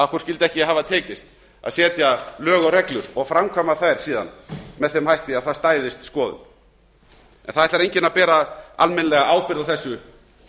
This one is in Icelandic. skyldi ekki hafa tekist að setja lög og reglur og framkvæma þær síðan með þeim hætti að það stæðist skoðun en það ætlar enginn að bera almennilega ábyrgð á þessu